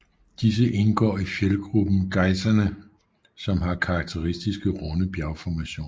Disse indgår i fjeldgruppen Gaissene som har karakteristiske runde bjergformationer